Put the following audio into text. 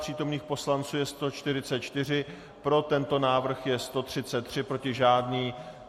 Přítomných poslanců je 144, pro tento návrh je 133, proti žádný.